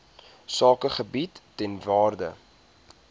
sakegebiede ter waarde